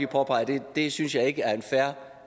påpege at det synes jeg ikke er en fair